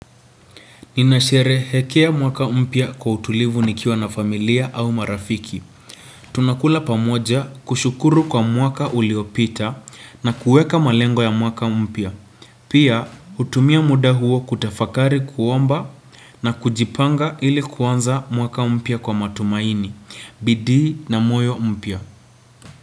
Ninasherehekea mwaka mpya kwa utulivu nikiwa na familia au marafiki. Tunakula pamoja kushukuru kwa mwaka uliopita na kueka malengo ya mwaka mpya. Pia hutumia muda huo kutafakari kuomba na kujipanga ili kuanza mwaka mpya kwa matumaini, bidii na moyo mpya.